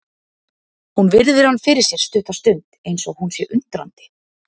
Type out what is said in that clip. Hún virðir hann fyrir sér stutta stund eins og hún sé undrandi.